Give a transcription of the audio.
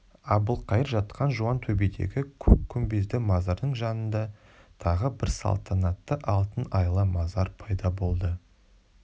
әбілқайыр жатқан жуантөбедегі көк күмбезді мазардың жанында тағы бір салтанатты алтын айлы мазар пайда болды